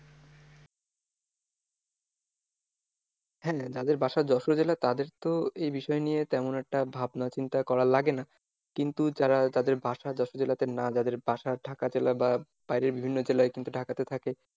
হ্যাঁ যাদের বাসা যশোর জেলা তাদের তো এই বিষয় নিয়ে তেমন একটা ভাবনা চিন্তা করা লাগে না, কিন্তু যারা যাদের বাসা যশোর জেলাতে না যাদের বাসা ঢাকা জেলা বা বাইরের বিভিন্ন জেলায় কিন্তু ঢাকাতে থাকে,